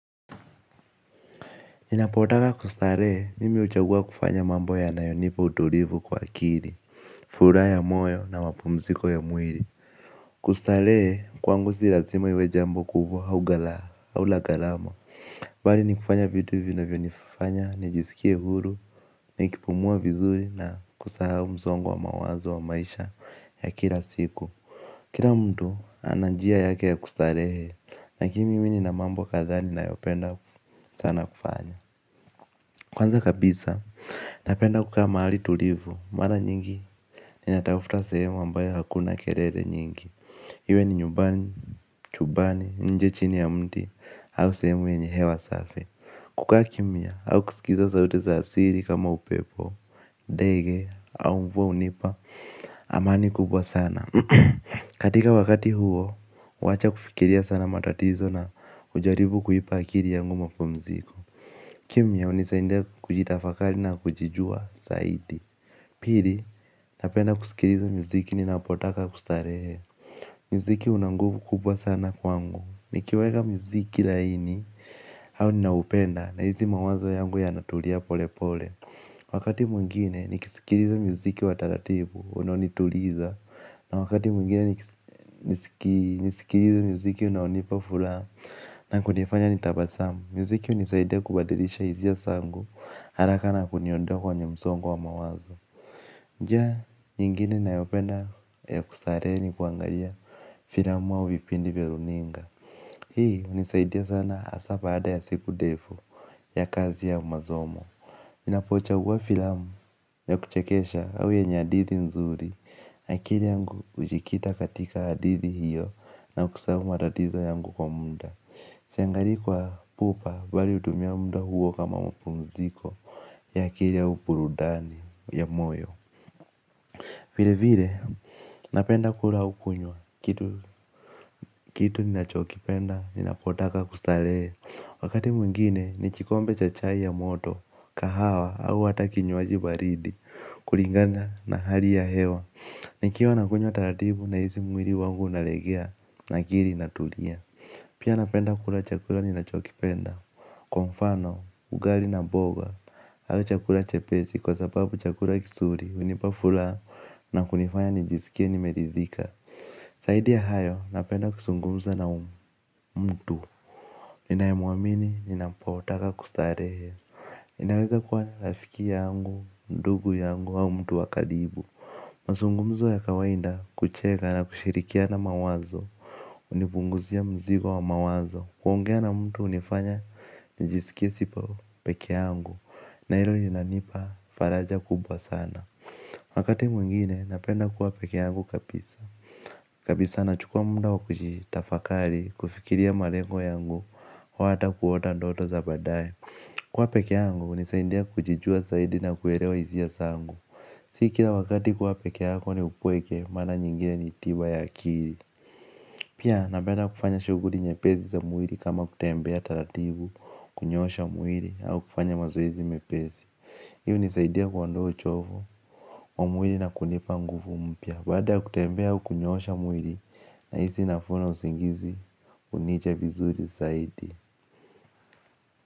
Ninapotaka kustarehe, mimi uchagua kufanya mambo yanayonipa utulivu kwa akili, furaha ya moyo na mapumziko ya mwili. Kustarehe, kwangu si lasima iwe jambo kubwa au la galama. Vali ni kufanya vinavyonifanya, ni jisikie huru, nikipumua vizuri na kusahau msongo wa mawazo wa maisha ya kila siku. Kila mtu ana njia yake ya kustarehe, lakini mimi nina mambo kadhaa ninayopenda sana kufanya. Kwanza kabisa, napenda kukaa mahali tulivu, mara nyingi ninatafta sehemu ambayo hakuna kelele nyingi. Iwe ni nyumbani, chumbani, nje chini ya mti, au sehemu yenye hewa safi. Kukaa kimya, au kusikiza sauti za asili kama upepo ndege, au mvua hunipa, amani kubwa sana. Katika wakati huo, wacha kufikiria sana matatizo na ujaribu kuipa akili yangu mapumziko. Kimya unisaidia kujitafakari na kujijua zaidi. Pili napenda kusikiliza muziki ninapotaka kustarehe. Mziki una nguvu kubwa sana kwangu. Nikiweka muziki laini au ninaupenda na hizi mawazo yangu yanatulia pole pole. Wakati mwingine nausikiliza muziki wa taratibu unaonituliza na wakati mwingine nisikiliza muziki unao nipa furaha na kunifanya nitabasamu. Muziki unisaidia kubadilisha hisia zangu haraka na kuniondoa kwenye msongo wa mawazo. Njia, nyingine nayopenda ya kustarehe ni kuangalia filamu au vipindi vya runinga. Hii unisaidia sana hasaa baada ya siku ndefu ya kazi ya masomo ninapochagua filamu ya kuchekesha au yenye hadithi nzuri. Akili yangu hujikita katika hadithi hiyo na kusahau matatizo yangu kwa muda. Siangalii kwa pupa mbali hutumia muda huo kama mapumziko ya akili au burudani ya moyo. Vilevile napenda kula au kunywa kitu ninachokipenda ninapotaka kustarehe. Wakati mwengine ni kikombe cha chai ya moto kahawa au hata kinywaji baridi kulingana na hali ya hewa. Nikiwa nakunywa taratibu nahisi mwili wangu unalegea na akili inatulia. Pia napenda kula chakula ninachokipenda. Kwa mfano, ugali na boga au chakula chepesi kwa sababu chakula kizuri hunipa furana na kunifanya nijisikie nimeridhika zaidi ya hayo napenda kuzungumza na umma mtu ninayemuamini, ninapotaka kustarehe. Inaweza kuwa ni rafiki yangu, ndugu yangu au mtu wa karibu mazungumzo ya kawaida kucheka na kushirikiana mawazo. Unipunguzia mzigo wa mawazo. Kuongea na mtu unifanya nijisikie siko peke yangu na ilo linanipa faraja kubwa sana. Wakati mwingine napenda kuwa peke yangu kapisa kabisa navhukua muda wa kutafakari kufikiria malengo yangu au kuota ndoto za baadaye kuwa peke yangu kunanisaidia kujijua zaofo na kuelewa hisia zangu. Si kila wakati kuwa peke yako ni upweke mara nyingine ni tiba ya akili. Pia napenda kufanya shughuli nyepesi za mwili kama kutembea taratibu. Kunyosha mwili au kufanya mazoezi mepesi. Hii unisaidia kuondoa uchovu. Mwili na kunipa nguvu mpya. Bada kutembea au kunyosha mwili. Nahisi nafuu na usingizi. Kunicha vizuri zaidi.